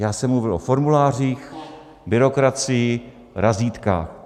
Já jsem mluvil o formulářích, byrokracii, razítkách.